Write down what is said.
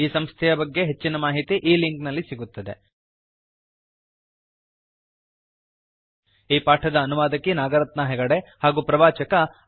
ಈ ಸಂಸ್ಥೆಯ ಬಗ್ಗೆ ಹೆಚ್ಚಿನ ಮಾಹಿತಿ ಈ ಲಿಂಕ್ ನಲ್ಲಿ ಸಿಗುತ್ತದೆ httpspoken tutorialorgNMEICT Intro ಈ ಪಾಠದ ಅನುವಾದಕಿ ನಾಗರತ್ನಾ ಹೆಗಡೆ ಹಾಗೂ ಪ್ರವಾಚಕ ಐ